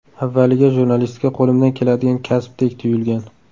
Avvaliga jurnalistika qo‘limdan keladigan kasbdek tuyulgan.